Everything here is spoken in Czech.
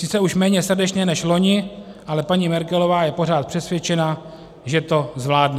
Sice už méně srdečně než loni, ale paní Merkelová je pořád přesvědčena, že to zvládne."